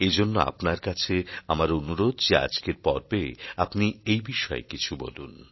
এজন্য আপনার কাছে আমার অনুরোধ যে আজকের পর্বে আপনি এই বিষয়ে কিছু বলুন